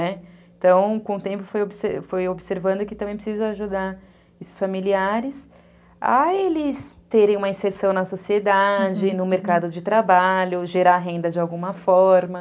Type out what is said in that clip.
Né, então, com o tempo, foi fui observando que também precisa ajudar esses familiares a eles terem uma inserção na sociedade, no mercado de trabalho, gerar renda de alguma forma.